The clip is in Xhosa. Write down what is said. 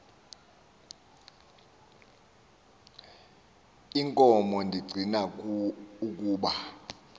inkomo ndicing ukuba